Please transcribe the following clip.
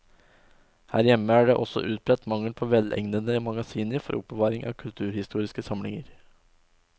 Her hjemme er det også utbredt mangel på velegnede magasiner for oppbevaring av kulturhistoriske samlinger.